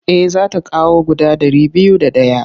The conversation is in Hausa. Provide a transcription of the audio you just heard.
Eh za ta kawo guda ɗari biyu da ɗaya.